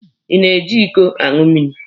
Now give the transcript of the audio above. Ị na-eji iko aṅụ mmiri?